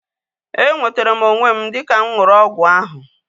E nwetere m onwe m dịka mụ ṅụrụ ọgwụ ahu